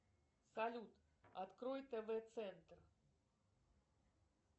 салют открой тв центр